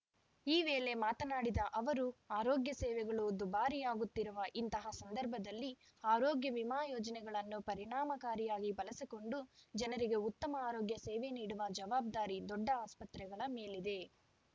ಈ ವೇಳೆ ಮಾತನಾಡಿದ ಅವರು ಆರೋಗ್ಯ ಸೇವೆಗಳು ದುಬಾರಿಯಾಗುತ್ತಿರುವ ಇಂತಹ ಸಂದರ್ಭದಲ್ಲಿ ಆರೋಗ್ಯ ವಿಮಾ ಯೋಜನೆಗಳನ್ನು ಪರಿಣಾಮಕಾರಿಯಾಗಿ ಬಳಸಿಕೊಂಡು ಜನರಿಗೆ ಉತ್ತಮ ಆರೋಗ್ಯ ಸೇವೆ ನೀಡುವ ಜವಾಬ್ದಾರಿ ದೊಡ್ಡ ಆಸ್ಪತ್ರೆಗಳ ಮೇಲಿದೆ